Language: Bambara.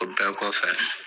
O bɛɛ kɔfɛ